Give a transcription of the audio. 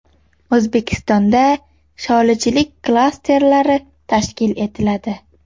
O‘zbekistonda sholichilik klasterlari tashkil etiladi.